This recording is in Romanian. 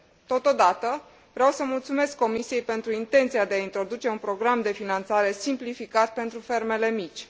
Totodată, vreau să mulțumesc Comisiei pentru intenția de a introduce un program de finanțare simplificat pentru fermele mici.